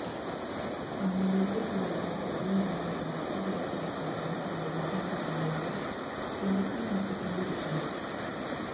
അമ്മയുടെ ഗർഭപാത്രത്തിൽ നിന്നും വലിച്ചു പുറത്തെടുത്തപ്പോൾ സംഭവിച്ച മുറിവുകൾക്ക് ചികിത്സ നടത്തിക്കൊണ്ടിരിക്കുന്നു